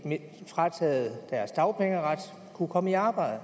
frataget deres dagpengeret kunne komme i arbejde